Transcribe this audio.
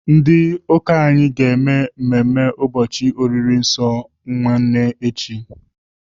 Ndị ụlọ ụka anyị ga-eme mmemme ụbọchị oriri nsọ nwanne echi.